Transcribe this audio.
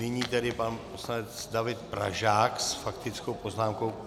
Nyní tedy pan poslanec David Pražák s faktickou poznámkou.